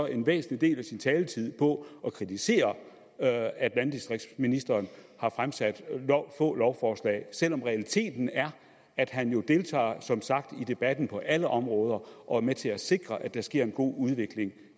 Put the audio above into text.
en væsentlig del af sin taletid på at kritisere at at landdistriktsministeren har fremsat få lovforslag selv om realiteten er at han jo som sagt deltager i debatten på alle områder og er med til at sikre at der sker en god udvikling